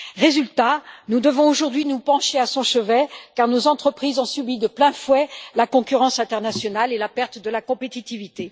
Résultat nous devons aujourd'hui nous pencher à son chevet, car nos entreprises ont subi de plein fouet la concurrence internationale et la perte de leur compétitivité.